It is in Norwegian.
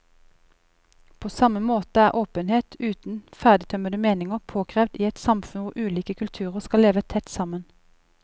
På samme måte er åpenhet uten ferdigtømrede meninger påkrevd i et samfunn hvor ulike kulturer skal leve tett sammen.